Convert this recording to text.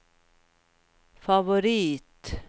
favorit